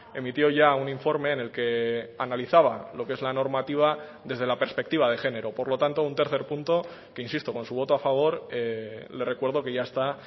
emitió ya un informe en el que analizaba lo que es la normativa desde la perspectiva de género por lo tanto un tercer punto que insisto con su voto a favor le recuerdo que ya está